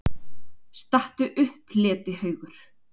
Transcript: STATTU UPP, LETIHAUGUR!